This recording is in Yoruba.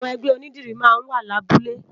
Awòn ègbè ónìdìrí má n wá làbúlé